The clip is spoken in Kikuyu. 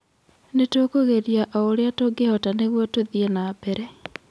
Nĩ tũkũgeria o ũrĩa tungĩhota nĩguo tũthiĩ nambere."